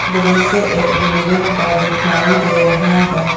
दृश्य एक बिल्डिंग का दिखाई दे रहा है।